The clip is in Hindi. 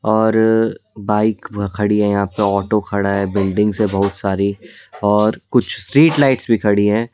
और बाइक खड़ी है यहां पे ऑटो खड़ा है बिल्डिंग्स है बहुत सारी और कुछ स्ट्रीट लाइट्स भी खड़ी हैं।